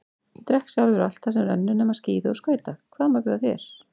Ég drekk sjálfur allt sem rennur nema skíði og skauta, hvað má bjóða þér?